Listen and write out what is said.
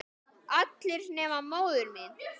Allir nema móðir mín.